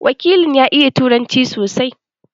Wakilin ya iya Turanci sosai.